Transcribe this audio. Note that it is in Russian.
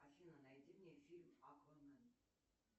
афина найди мне фильм аквамен